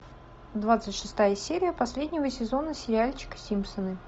двадцать шестая серия последнего сезона сериальчика симпсоны